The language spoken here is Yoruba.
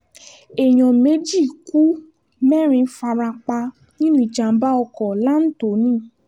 èèyàn méjì ku mẹ́rin fara pa nínú ìjàm̀bá ọkọ̀ lanthony